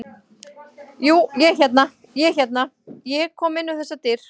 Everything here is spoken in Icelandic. Jú, ég hérna. ég er hérna. ég kom inn um þessar dyr.